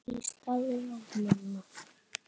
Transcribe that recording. Ég starði á mömmu.